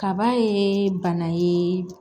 Kaba ye bana ye